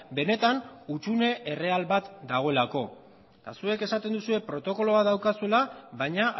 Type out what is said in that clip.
benetan hutsune erreal bat dagoelako eta zuek esaten duzue protokolo bat daukazuela baina